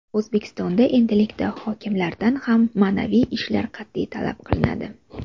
O‘zbekistonda endilikda hokimlardan ham ma’naviy ishlar qat’iy talab qilinadi.